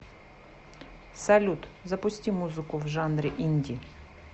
салют запусти музыку в жанре инди